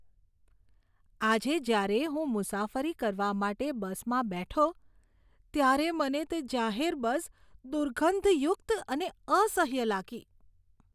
આજે જ્યારે હું મુસાફરી કરવા માટે બસમાં બેઠો ત્યારે મને તે જાહેર બસ દુર્ગંધયુક્ત અને અસહ્ય લાગી.